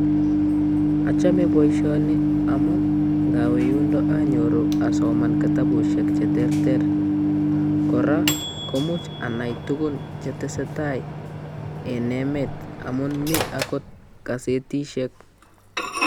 Achome boisioni amu ngawe yundo anyoru asoman kitabushek che terter, kora komuch anai tugun chetesetai en emet amun mi agot kasetishek.